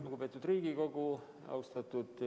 Lugupeetud Riigikogu!